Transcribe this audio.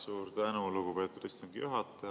Suur tänu, lugupeetud istungi juhataja!